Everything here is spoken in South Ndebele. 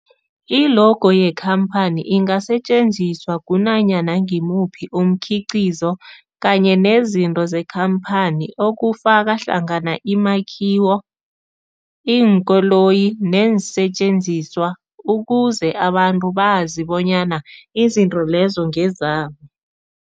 I-logo yekhamphani ingasetjenziswa kunanyana ngimuphi umkhiqizo kanye nezinto zekhamphani okufaka hlangana imakhiwo, iinkoloyi neensentjenziswa ukuze abantu bazi bonyana izinto lezo ngezabo.